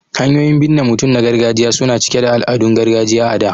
Hanyoyin binne mutum na gargajiya su na cike da al'adun gargajiya a da.